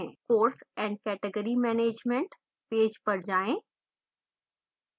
course and category management page पर जाएँ